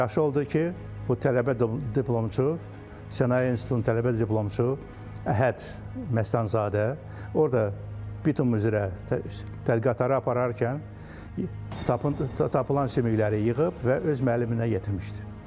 Yaxşı oldu ki, bu tələbə diplomçu Sənaye institutunun tələbə diplomçusu Əhəd Məstanlızadə orda bitum üzrə tədqiqatları apararkən tap tapılan sümükləri yığıb və öz müəlliminə yetirmişdi.